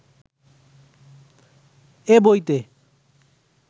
এ বইতে